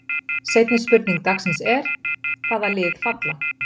Seinni spurning dagsins er: Hvaða lið falla?